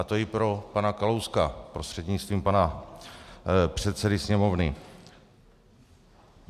A to i pro pana Kalouska prostřednictvím pana předsedy Sněmovny.